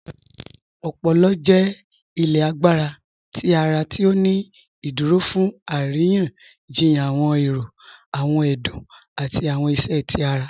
Ọpọ̀lọ̀ jẹ́ ilẹ̀ àgbàrá tí ara ti ó ní ìdúró fún arìyàn-jìyàn awọn èrò, awọn ẹdún, àti awọn ìṣẹ́ tí ara